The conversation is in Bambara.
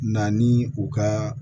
Na ni u ka